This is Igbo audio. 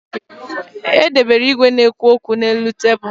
E debere igwe na-ekwu okwu n'elu tebulu